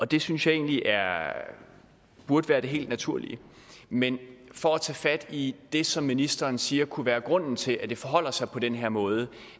det synes jeg egentlig burde være det helt naturlige men for at tage fat i det som ministeren siger kunne være grunden til at det forholder sig på den her måde